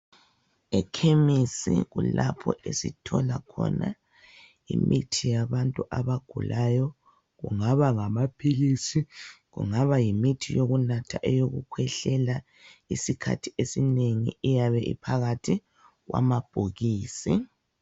Ekemesi kulapho esithola khona imithi yabantu abagulayo kungaba ngamaphilisi kungaba yimithi yokunatha eyokukhwehlela isikhathi esinengi iyabe iphakathi kwamabhokisi .